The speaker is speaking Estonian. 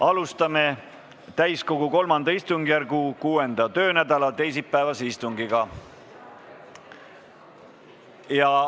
Alustame täiskogu III istungjärgu 6. töönädala teisipäevast istungit.